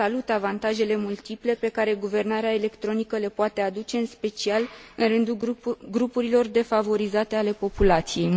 Salut avantajele multiple pe care guvernarea electronică le poate aduce în special în rândul grupurilor defavorizate ale populației.